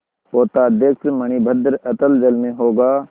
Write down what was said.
पोताध्यक्ष मणिभद्र अतल जल में होगा